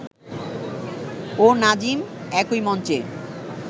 ও নাজিম একই মঞ্চে